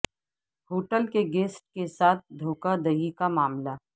hotel کے guest کے ساتھ دھوکہ دہی کا معاملہ